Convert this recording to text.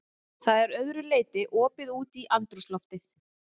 Það er að öðru leyti opið út í andrúmsloftið.